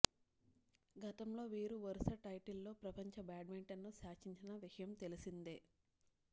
గతంలో వీరు వరుస టైటిల్స్తో ప్రపంచ బ్యాడ్మింటన్ను శాసించిన విషయం తెలిసిందే